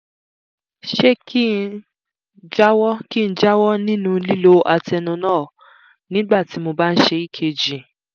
ṣé kí n jáwọ́ kí n jáwọ́ nínú lílo atenolol nígbà tí mo bá ń ṣe ekg?